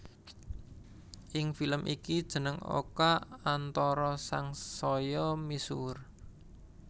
Ing film iki jeneng Oka Antara sangsaya misuwur